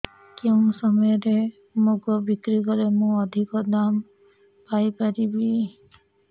କେଉଁ ସମୟରେ ମୁଗ ବିକ୍ରି କଲେ ମୁଁ ଅଧିକ ଦାମ୍ ପାଇ ପାରିବି